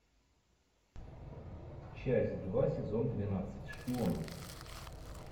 часть два сезон двенадцать шпионки